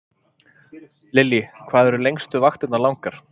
Lillý: Hvað eru lengstu vaktirnar langar?